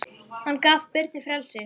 Hann gaf Birni frelsi.